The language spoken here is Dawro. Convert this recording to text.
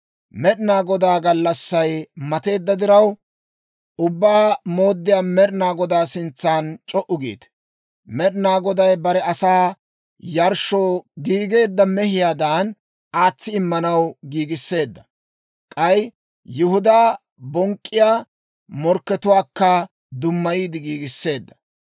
Med'inaa Godaa gallassay mateedda diraw, Ubbaa Mooddiyaa Med'inaa Godaa sintsan c'o"u giite! Med'inaa Goday bare asaa yarshshoo giigeedda mehiyaadan aatsi immanaw giigisseedda; k'ay Yihudaa bonk'k'iyaa morkkatuwaakka dummayiide giigiseedda.